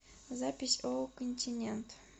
запись ооо континент